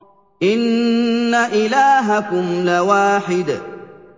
إِنَّ إِلَٰهَكُمْ لَوَاحِدٌ